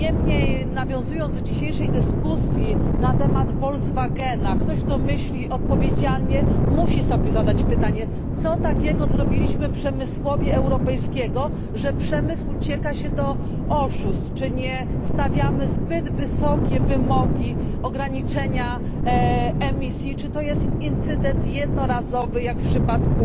Niemniej, nawiązując do dzisiejszej dyskusji na temat Volkswagena, ktoś kto myśli odpowiedzialnie, musi sobie zadać pytanie co takiego zrobiliśmy przemysłowi europejskiemu, że przemysł ucieka się do oszustw czy nie stawiamy zbyt wysokich wymogów ograniczenia emisji czy to jest incydent jednorazowy jak w przypadku